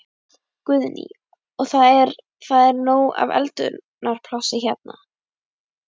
Guðný: Og það er, það er nóg af eldunarplássi hérna?